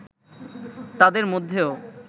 তাদের মধ্যেও